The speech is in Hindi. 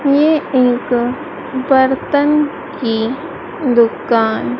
ये एक बर्तन की दुकान--